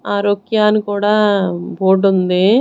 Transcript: ఆరోక్యా అని కూడా బోర్డ్ ఉంది.